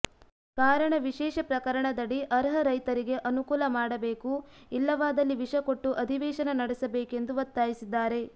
ಕಾರಣ ವಿಶೇಷ ಪ್ರಕರಣದಡಿ ಅರ್ಹ ರೈತರಿಗೆ ಅನುಕೂಲ ಮಾಡಬೇಕು ಇಲ್ಲವಾದಲ್ಲಿ ವಿಷಕೊಟ್ಟು ಅಧಿವೇಶನ ನಡೆಸಬೇಕೆಂದು ಒತ್ತಾಯಿಸಿದ್ದಾರೆ